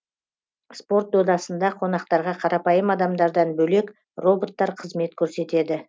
спорт додасында қонақтарға қарапайым адамдардан бөлек роботтар қызмет көрсетеді